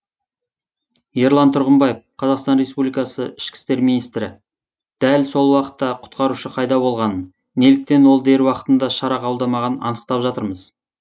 ерлан тұрғымбаев қазақстан республикасының ішкі істер министрі дәл сол уақытта құтқарушы қайда болғанын неліктен ол дер уақытында шара қабылдамағанын анықтап жатырмыз